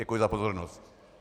Děkuji za pozornost.